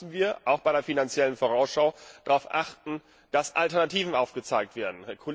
Da müssen wir auch bei der Finanziellen Vorausschau darauf achten, dass Alternativen aufgezeigt werden.